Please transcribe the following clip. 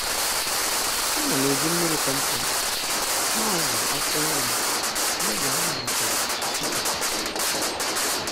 Ánám eji mmiri kompost na-àzụ akwụkwọ nrim n'oge ha malitere ipupụta